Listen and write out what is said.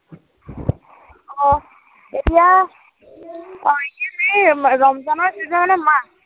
অ, এতিয়া, অ এতিয়া এই ৰমজানৰ যিটো মানে মাহ।